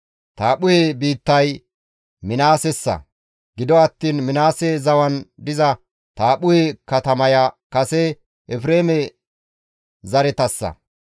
Taaphphuhe biittay Minaasessa; gido attiin Minaase zawan diza Taaphphuhe katamaya kase Efreeme zaretassa.